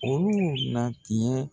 Olu na tiɲɛ